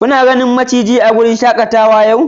Kuna ganin maciji a wurin shakatawa a safiyar yau